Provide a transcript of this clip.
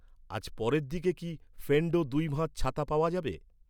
আজ পরের দিকে কি, ফেন্ডো দুই ভাঁজ ছাতা পাওয়া যাবে?